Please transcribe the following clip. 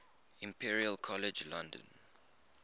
imperial college london